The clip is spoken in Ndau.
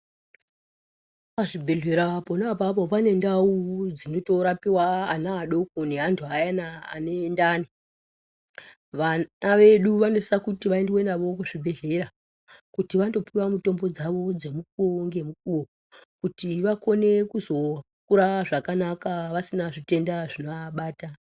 Pachibhedhlera pona apapo pane ndau dzinmotorapiwa ana adoko, neantu ayana anendani. Vana vedu vanosiswa kuti vaendiwe navo kuzvibhedhlera kuti vandopiwa mitombo dzavo dzemukuwo ngemukuwo kuitire kuti vakone kuzokura zvakanaka pasina zvitenda zvinoabata.